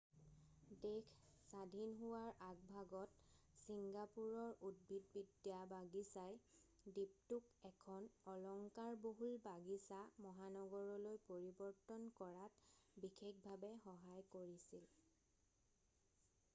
দেশ স্বাধীন হোৱাৰ আগভাগত চিংগাপুৰৰ উদ্ভিদবিদ্যা বাগিচাই দ্বীপটোক এখন অলংকাৰ বহুল বাগিচা মহানগৰলৈ পৰিবৰ্তন কৰাত বিশেষভাৱে সহায় কৰিছিল